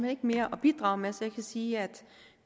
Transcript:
ikke mere at bidrage med så jeg kan sige at